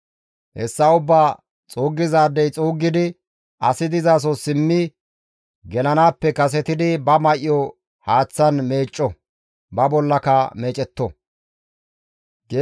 Hessa ubbaa xuuggizaadey xuuggidi asi dizaso simmi gelanaappe kasetidi ba may7o haaththan meecco; ba bollaka meecetto.